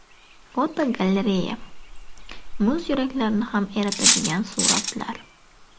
Fotogalereya: Muz yuraklarni ham eritadigan suratlar.